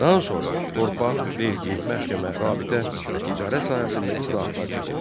Daha sonra torpaq, vergi, məhkəmə, rabitə və ticarət sahəsində islahatlar keçirdi.